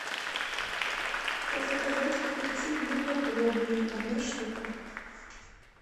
заказать огурцы длинноплодные одна штука